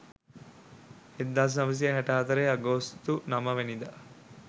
1964 අගෝස්තු 9 වැනිදා.